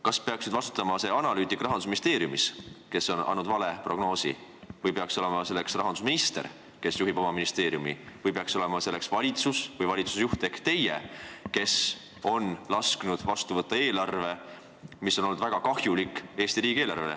Kas peaks vastutama see analüütik Rahandusministeeriumis, kes tegi vale prognoosi, või peaks selleks vastutajaks olema rahandusminister, kes juhib ministeeriumi, või peaks selleks vastutajaks olema valitsus või valitsuse juht ehk teie, kes on lasknud vastu võtta eelarve, mis on olnud Eesti riigile väga kahjulik?